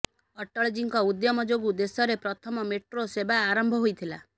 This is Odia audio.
ଅଟଳଜୀଙ୍କ ଉଦ୍ୟମ ଯୋଗୁ ଦେଶରେ ପ୍ରଥମ ମେଟ୍ରୋ ସେବା ଆରମ୍ଭ ହୋଇଥିଲା